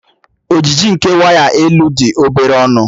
Ojiji nke waya elu dị obere ọnụ.